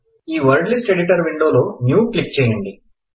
ఈ word list editor విండోలో new click చేయండి